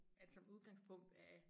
At som udgangspunkt er